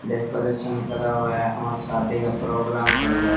Decoration करा हुआ है और शादी का प्रोग्राम चल रहा है।